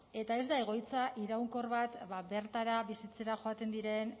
eta ez da egoitza iraunkor bat ba bertara bizitzera joaten diren